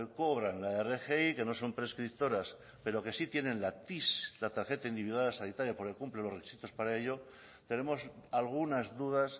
cobran la rgi que no son prescriptoras pero que sí tienen la tis la tarjeta individual sanitaria porque cumplen los requisitos para ello tenemos algunas dudas